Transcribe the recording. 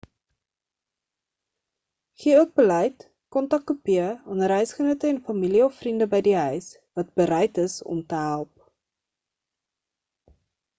gee ook beleid-/kontakkopieë aan reisgenote en familie of vriende by die huis wat bereid is om te help